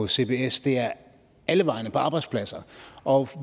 cbs det er alle vegne på arbejdspladser og